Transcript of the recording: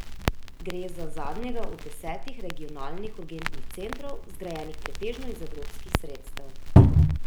Gre za zadnjega od desetih regionalnih urgentnih centrov, zgrajenih pretežno iz evropskih sredstev.